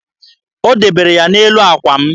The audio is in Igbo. O debere ya n'elu àkwà m.